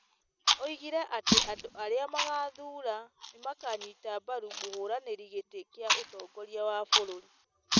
Oigire atĩ andũ arĩa magaathura nĩ makaanyita mbaru mũhũranĩri gĩtĩ kĩa ũtongoria wa bũrũri,